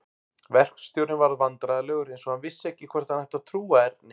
Verkstjórinn varð vandræðalegur eins og hann vissi ekki hvort hann ætti að trúa Erni.